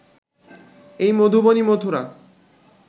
এই মধুবনই মথুরা